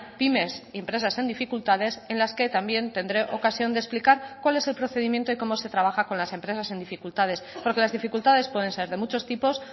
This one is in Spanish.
pymes empresas en dificultades en las que también tendré ocasión de explicar cuál es el procedimiento y como se trabaja con las empresas en dificultades porque las dificultades pueden ser de muchos tipos